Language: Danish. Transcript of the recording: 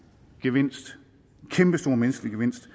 gevinst en kæmpestor menneskelige gevinst